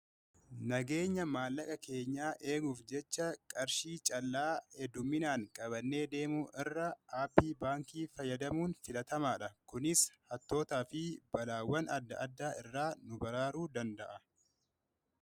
Nageenya maallaqa keenyaa eeguuf jecha qarshii callaa hedduminaan qabannee deemu irra aappii baankii fayyadamuun filatamaa dha. Kunis hattootaa fi balaawwan adda addaa irraa nu baraaru danda'a.